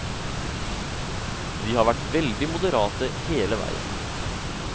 Vi har vært veldig moderate hele veien.